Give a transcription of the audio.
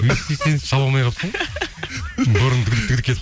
шаба алмай қалыпсың ғой бұрын кетіп